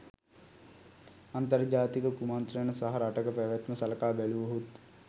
අන්තර්ජාතික කුමන්ත්‍රණ සහ රටක පැවැත්ම සලකා බැලුවහොත්